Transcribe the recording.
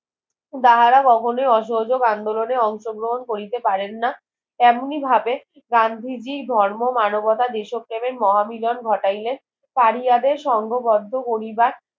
তাহারাই কখনোই অসহোযোক আন্দোলন এ অংশগ্রন করিতে পারেন না এমনি ভাবে গান্ধীজির ধর্ম মানবতা দেশ প্রেমের মহামিলন ঘটালেন তারিয়াদের সঙ্গবদ্ধ করিবার